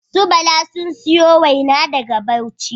Su Bala sun siyo waina daga bauchi